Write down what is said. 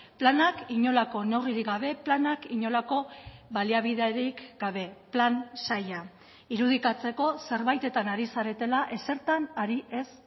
planak inolako neurririk gabe planak inolako baliabiderik gabe plan zaila irudikatzeko zerbaitetan ari zaretela ezertan ari ez